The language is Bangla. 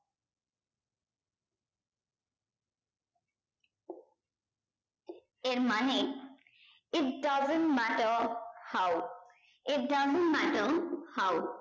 এর মানে it doesn't matter how it doesn't matter how